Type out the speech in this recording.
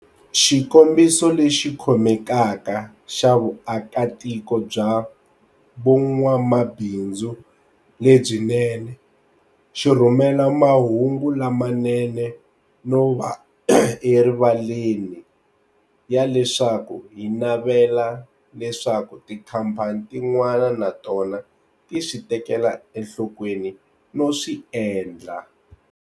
Xikombiso lexi khomekaka xa vuakatiko bya vun'wamabindzu lebyinene xi rhumela mahungu lamanene no va erivaleni ya leswaku hi navela leswaku tikhampani tin'wana na tona ti swi tekela enhlokweni no swi endla.